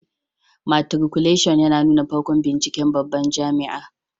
Matriculashin ya nuna farkon binciken babban jami'a